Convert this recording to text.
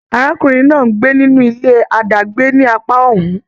Arákùnrin náà n gbé nínú ilé adàgbè ni apá ọ́hún.